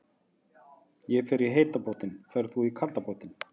Ég fer í heita pottinn. Ferð þú í kalda pottinn?